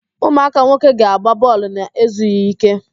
Ụmụaka nwoke ga-agba bọọlụ na-ezughi ike.